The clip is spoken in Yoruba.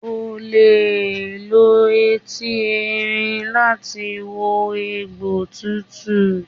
O le lo etí erin láti wo egbò tuntun.